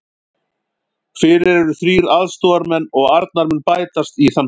Fyrir eru þrír aðstoðarmenn og Arnar mun bætast í þann hóp.